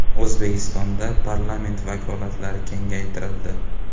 O‘zbekistonda parlament vakolatlari kengaytirildi .